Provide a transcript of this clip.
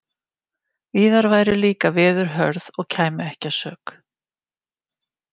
Víðar væru líka veður hörð og kæmi ekki að sök.